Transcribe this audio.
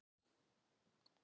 hvert er stærsta úthafið